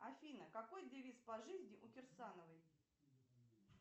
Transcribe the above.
афина какой девиз по жизни у керсановой